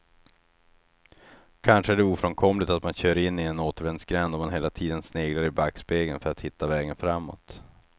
Kanske är det ofrånkomligt att man kör in i en återvändsgränd om man hela tiden sneglar i backspegeln för att hitta vägen framåt.